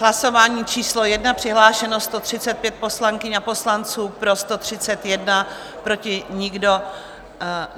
Hlasování číslo 1, přihlášeno 135 poslankyň a poslanců, pro 131, proti nikdo.